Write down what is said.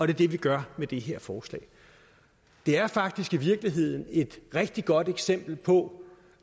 det vi gør med det her forslag det er faktisk i virkeligheden et rigtig godt eksempel på